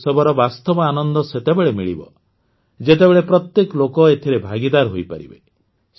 ଏହି ଉତ୍ସବର ବାସ୍ତବ ଆନନ୍ଦ ସେତେବେଳେ ମିଳିବ ଯେତେବେଳେ ପ୍ରତ୍ୟେକ ଲୋକ ଏଥିରେ ଭାଗୀଦାର ହୋଇପାରିବେ